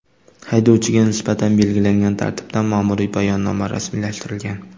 Haydovchiga nisbatan belgilangan tartibda ma’muriy bayonnoma rasmiylashtirilgan.